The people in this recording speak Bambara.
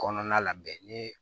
Kɔnɔna la bɛn ni